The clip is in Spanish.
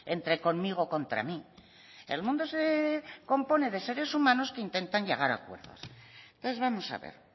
entre conmigo contra mí el mundo se compone de seres humanos que intentan llegar a acuerdos entonces vamos a ver